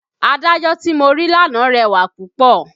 Adájọ́ tí mo rí lánàá rẹwà púpọ̀